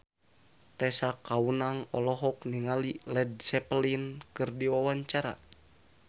Tessa Kaunang olohok ningali Led Zeppelin keur diwawancara